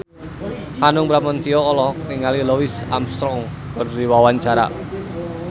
Hanung Bramantyo olohok ningali Louis Armstrong keur diwawancara